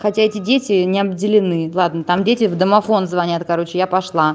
хотя эти дети не обделены ладно там дети в домофон звонят короче я поша